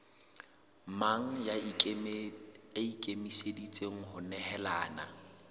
mang ya ikemiseditseng ho nehelana